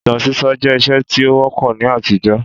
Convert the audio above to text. Ìtàn sísọ jẹ́ ìṣe tí ó wọ́pọ̀ ní àtijọ́